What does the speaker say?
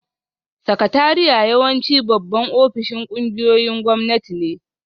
Sakatariya yawanci babban ofishin ƙungiyoyin gwamnati ne